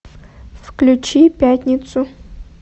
включи пятницу